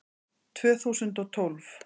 Tvö þúsund og tólf